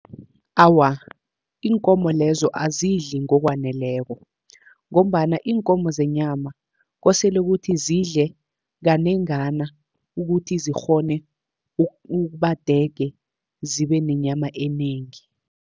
Awa, iinkomo lezo azidli ngokwaneleko, ngombana iinkomo zenyama kosele kuthi zidle kanengana, ukuthi zikghone ukuba dege zibe nenyama enengi.